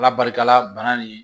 Ala barika la bana nin